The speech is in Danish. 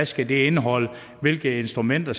skal indeholde hvilke instrumenter